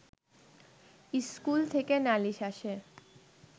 school থেকে নালিশ আসে